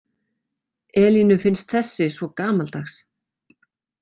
Elínu finnst þessi svo gamaldags.